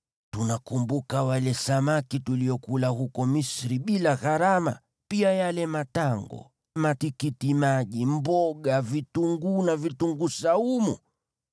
Tunakumbuka wale samaki tuliokula huko Misri bila gharama, pia yale matango, matikitimaji, mboga, vitunguu, na vitunguu saumu.